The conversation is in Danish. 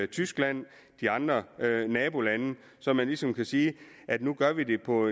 tyskland og de andre nabolande så man ligesom kan sige at nu gør vi det på